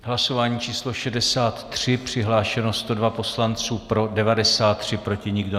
Hlasování číslo 63, přihlášeno 102 poslanců, pro 93, proti nikdo.